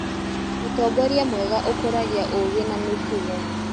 Ũtongoria mwega ũkũragia ũũgĩ na mĩtugo.